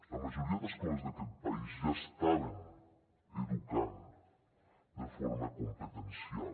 la majoria d’escoles d’aquest país ja estaven educant de forma competencial